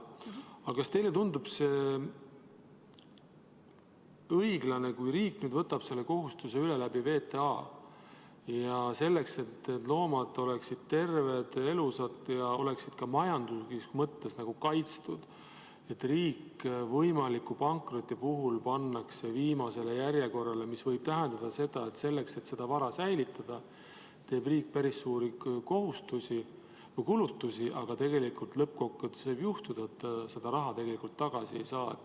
Aga kas teile tundub see õiglane, kui riik võtab selle kohustuse üle VTA kaudu selleks, et need loomad oleksid terved, elusad ja ka majanduslikus mõttes kaitstud, aga riik võimaliku pankroti puhul pannakse järjekorras viimaseks, mis võib tähendada seda, et selleks, et seda vara säilitada, teeb riik päris suuri kulutusi, aga lõppkokkuvõttes võib juhtuda, et seda raha tagasi ei saa?